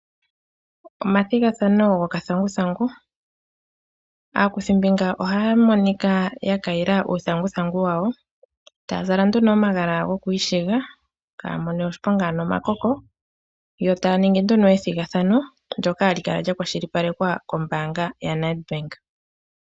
Omathigathano gokathanguthangu aakuthimbinga ohaya monika yakayila uuthanguthangu wayo. Etaya zala nduno omagala goku ishiga kaaya mone oshiponga ano omakoko . Yo taya ningi nduno ethigathano ndyoka hali kala lya kwashilipalekwa kombaanga ya Net Bank.